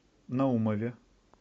наумове